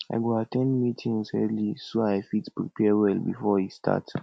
i go at ten d meetings early so i fit prepare well before e start